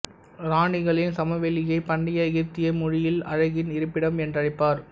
இராணிகளின் சமவெளியை பண்டைய எகிப்திய மொழியில் அழகின் இருப்பிடம் என்றழைப்பர்